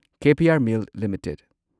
K P R mill limited